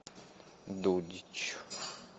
дудич